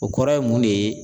O kɔrɔ ye mun de ye ?